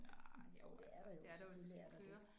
Ah jo altså det er der jo hvis du skal køre